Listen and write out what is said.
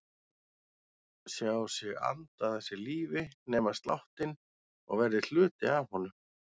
Sjá sig anda að sér lífi, nema sláttinn og verða hluti af honum.